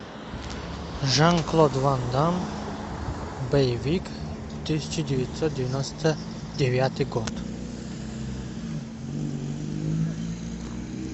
жан клод ван дамм боевик тысяча девятьсот девяносто девятый год